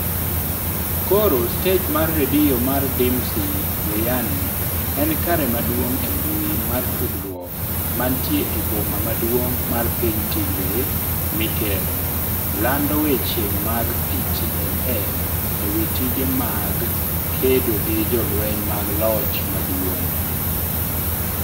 Koro stej mar redio mar Dimtsi Weyane en kare maduong' e mbui mar tudruok mantie e boma maduong' mar piny Tigray, Mekelle, lando weche mag PTLF ewi tije mag kedo gi jolweny mag loch maduong'.